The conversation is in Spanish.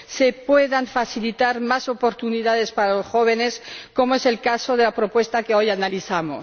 se puedan facilitar más oportunidades para los jóvenes, como es el caso de la propuesta que hoy analizamos.